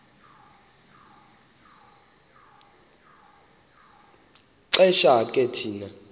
xesha ke thina